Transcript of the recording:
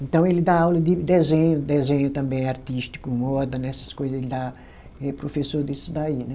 Então ele dá aula de desenho, desenho também artístico, moda, né, essas coisa, ele dá, ele é professor disso daí, né?